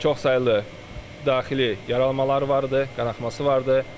Çox saylı daxili yaralanmaları vardı, qanaaxması vardı.